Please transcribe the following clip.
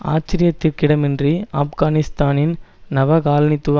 ஆச்சரியத்திற்கிடமின்றி ஆப்கானிஸ்தானின் நவகாலனித்துவ